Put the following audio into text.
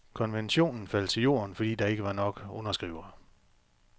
Konventionen faldt til jorden, fordi der ikke var nok underskrivere.